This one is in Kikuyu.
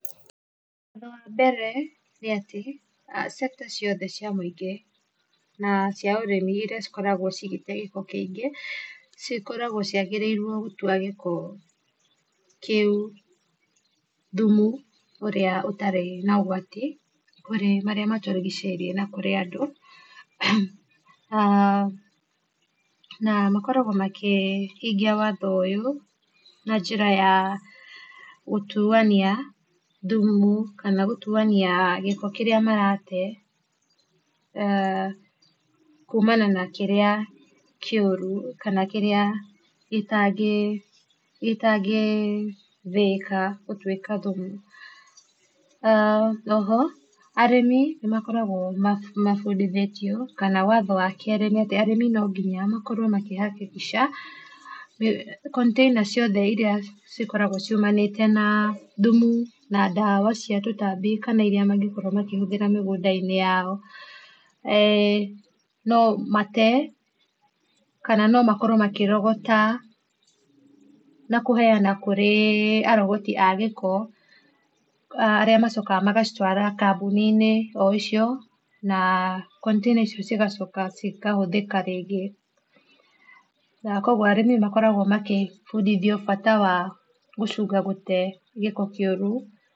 Ũndũ wa mebere nĩatĩ sector ciothe cia mũingĩ na cia ũrĩmi iria cikoragwo cigĩte gĩko kĩingĩ cikoragwo ciagĩrĩirwo gũtua gĩko kĩu thumu ũrĩa ũtarĩ na ũgwati kũrĩ marĩa matũrigicĩirie na kũrĩ andũ, na makoragwo makĩhingia watho ũyũ na njĩra ya gũtuania thumu kana gũtuania gĩko kĩrĩa marate, kumana na kĩrĩa kĩũru kana kĩrĩa gĩtangĩthĩĩka gũtuĩka thumu. Oho arĩmi nĩmakoragwo mabundithĩtio, kana watho wa kerĩ nĩatĩ arĩmi no nginya makorwo makĩ hakikisha container ciothe iria cikoragwo ciumanĩte na thumu na ndawa cia tũtambi kana iria mangĩkorwo makĩhũthĩra mĩgũnda-inĩ yao, no mate kana no makorwo makĩrogota na kũheana kũrĩ arogoti a gĩko arĩa macokaga magacitwara kambũni-inĩ o icio na container icio cigacoka cikahũthĩka rĩngĩ, na kuoguo arĩmi makoragwo makĩbundithio bata wa gũcunga gũte gĩko kĩũru.